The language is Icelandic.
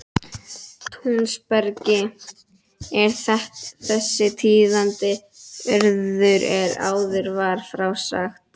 Túnsbergi er þessi tíðindi urðu er áður var frá sagt.